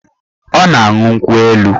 Ọ na-aṅụ nkwụ elu